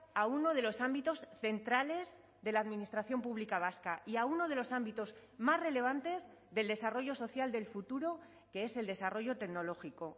a uno de los ámbitos centrales de la administración pública vasca y a uno de los ámbitos más relevantes del desarrollo social del futuro que es el desarrollo tecnológico